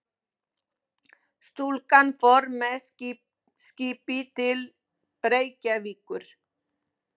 Stúlkan fór með skipi til Reykjavíkur.